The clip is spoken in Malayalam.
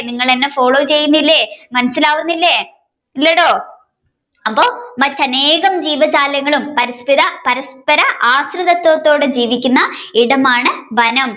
നിങ്ങൾ എന്നെ follow ചെയ്യുന്നില്ലേ മനസിലാവുന്നില്ലേ അപ്പോ മറ്റു അനേകം ജീവജാലങ്ങളും പരസപിത~പരസ്പര ആഹൃദത്തോടെ ജീവിക്കുന്ന ഇടമാണ് വനം